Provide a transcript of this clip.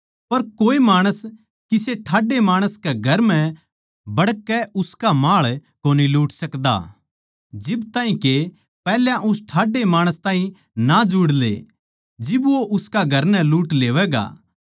पर कोए माणस किसे ठाड्डै माणस कै घर म्ह बड़कै उसका माळ कोनी लूट सकदा जिब ताहीं के पैहल्या उस ठाड्डे माणस ताहीं ना जुड़ ले जिब वो उसका घर नै लूट लेवैगा